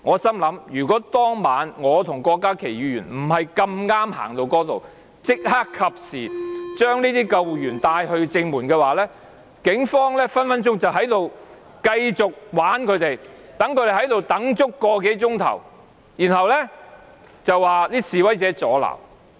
當晚若非我和郭家麒議員恰巧走到那裏及時帶救護員到正門，警方隨時繼續戲弄他們，讓他們等候個多小時，然後便說示威者阻撓。